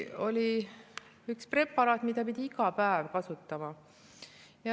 Oli üks preparaat, mida pidi iga päev kasutama.